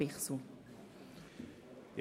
Lastenverschiebung zu den Gemeinden;